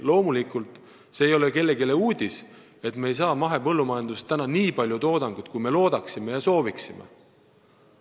Loomulikult ei ole see kellelegi uudis, et me ei saa praegu mahepõllumajandusest nii palju toodangut, kui me loodaksime ja sooviksime.